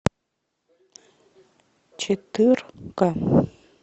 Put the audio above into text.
четырка